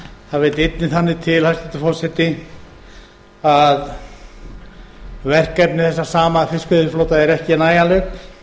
það vill einnig þannig til hæstvirtur forseti að verkefni þessa sama fiskveiðiflota eru ári nægjanleg